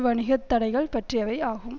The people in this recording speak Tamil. வணிக தடைகள் பற்றியவை ஆகும்